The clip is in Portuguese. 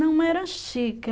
Não era chique.